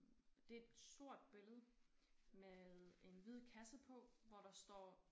Det et sort billede med en hvid kasse på hvor der står